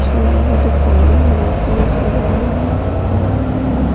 की दुकान सजाया हुआ --